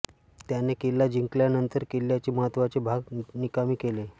त्याने किल्ला जिंकल्यानंतर किल्ल्याचे महत्त्वाचे भाग निकामी केले